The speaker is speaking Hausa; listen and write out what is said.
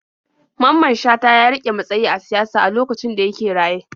Mamman Shata ya riƙe matsayi a siyasa a lokacin da yake raye.